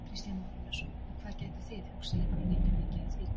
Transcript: Kristján Már Unnarsson: Og hvað gætuð þið hugsað ykkur að nýta mikið af því?